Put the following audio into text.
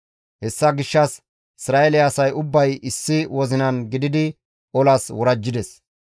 Hessa gishshas Isra7eele asay ubbay issi wozinan gididi olas worajjides.